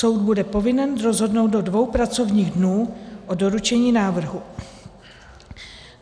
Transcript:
Soud bude povinen rozhodnout do dvou pracovních dnů od doručení návrhu.